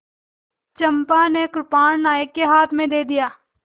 चंपा ने कृपाण नायक के हाथ में दे दिया